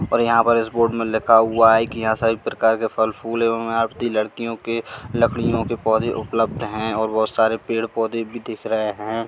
और यहां पर इस बोर्ड में लिखा हुआ है कि यहां सभी प्रकार के फल फूल लड़कियों के लकड़ियों के पोंधे उपलब्ध है और बहोत सारे पेड़ पौधे भी दिख रहे हैं।